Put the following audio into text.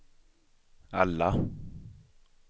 alla